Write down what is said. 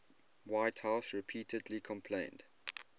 whitehouse repeatedly complained